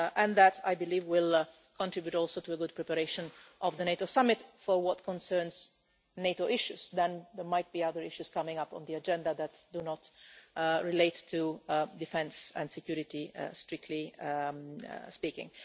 That, I believe, will contribute also to the good preparation of the NATO summit for what concerns NATO issues. Then there might be other issues coming up on the agenda that do not relate to defence and security, strictly speaking.